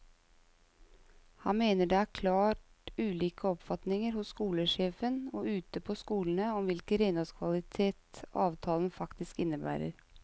Han mener det er klart ulike oppfatninger hos skolesjefen og ute på skolene om hvilken renholdskvalitet avtalene faktisk innebærer.